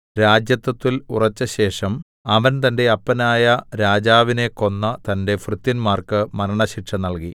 രാജത്വത്തിൽ ഉറെച്ചശേഷം അവൻ തന്റെ അപ്പനായ രാജാവിനെ കൊന്ന തന്റെ ഭൃത്യന്മാർക്ക് മരണശിക്ഷ നൽകി